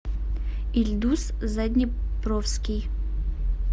ильдус заднепровский